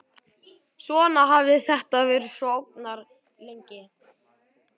Svona hafði þetta verið svo ógnarlengi.